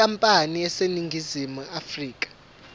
yenkampani eseningizimu afrika